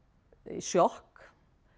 sjokk